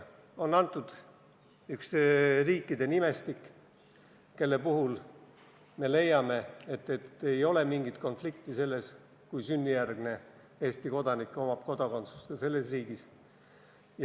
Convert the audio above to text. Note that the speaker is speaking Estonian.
On antud üks nimestik riikidest, kelle puhul me leiame, et ei ole mingit konflikti, kui sünnijärgne Eesti kodanik omab kodakondsust ka selles riigis.